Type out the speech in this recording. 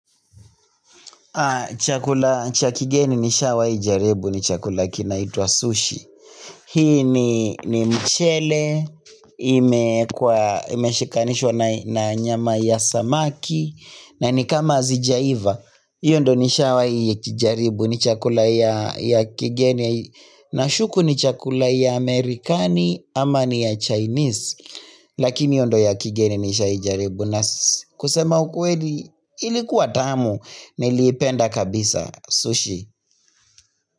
Chakula cha kigeni nishawahi jaribu ni chakula kinaitwa sushi Hii ni mchele, imeekwa imeshikanishwa na nyama ya samaki na nikama hazijaiva, hiyo ndo nishawahi jaribu ni chakula ya kigeni Nashuku ni chakula ya amerikani ama ni ya chinese Lakini hiyo ndo ya kigeni nishawahi jaribu na kusema ukweli ilikuwa tamu niliipenda kabisa sushi.